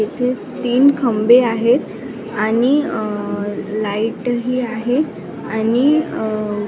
इथे तीन खांबे आहेत आणि अ लाईट ही आहे आणि अ --